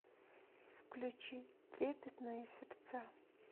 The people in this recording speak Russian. включи трепетные сердца